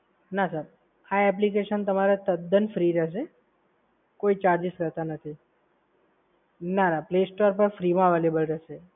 ના સર, આ application તમારે તદ્દન ફ્રી રહેશે. કોઈ charges હોતા નથી. ના ના play store પર ફ્રી માં અવૈલેબલ રહેશે.